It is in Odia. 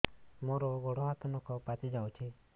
ମୋର ଗୋଡ଼ ହାତ ନଖ ପାଚି ଯାଉଛି